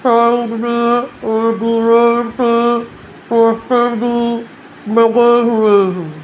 Side में और दीवार पे पोस्टर भी लगे हुए हैं।